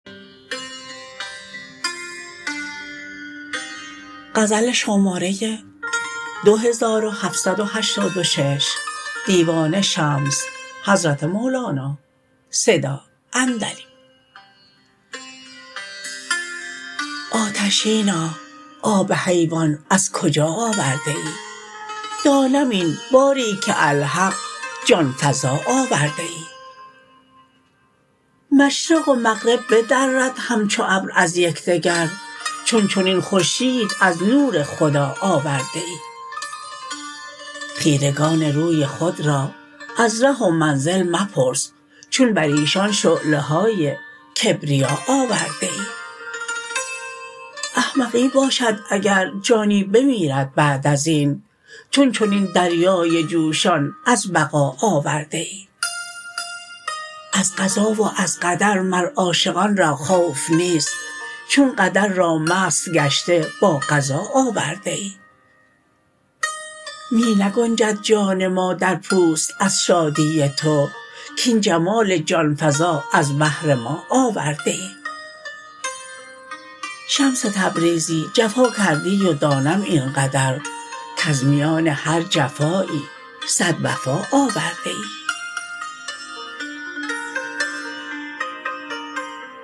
آتشینا آب حیوان از کجا آورده ای دانم این باری که الحق جان فزا آورده ای مشرق و مغرب بدرد همچو ابر از یک دگر چون چنین خورشید از نور خدا آورده ای خیره گان روی خود را از ره و منزل مپرس چون بر ایشان شعله های کبریا آورده ای احمقی باشد اگر جانی بمیرد بعد از این چون چنین دریای جوشان از بقا آورده ای از قضا و از قدر مر عاشقان را خوف نیست چون قدر را مست گشته با قضا آورده ای می نگنجد جان ما در پوست از شادی تو کاین جمال جان فزا از بهر ما آورده ای شمس تبریزی جفا کردی و دانم این قدر کز میان هر جفایی صد وفا آورده ای